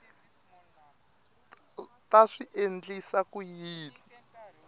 ta swi endlisa ku yini